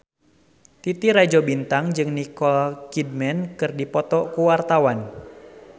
Titi Rajo Bintang jeung Nicole Kidman keur dipoto ku wartawan